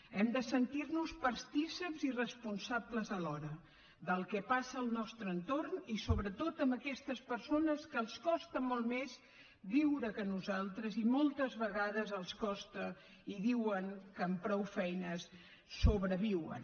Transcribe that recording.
hem de sentir nos partícips i responsables alhora del que passa al nostre entorn i sobretot amb aquestes persones que els costa molt més viure que a nosaltres i moltes vegades els costa i diuen que amb prou feines sobreviuen